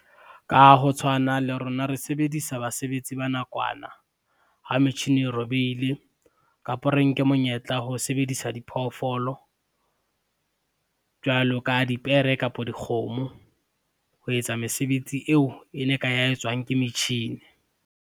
Ka ho tshwana, le rona re sebedisa basebetsi ba nakwana, ha metjhini e robehile kapa re nke monyetla ho sebedisa diphoofolo, jwalo ka dipere kapa dikgomo, ho etsa mesebetsi eo e ne ka ya etswang ke metjhini.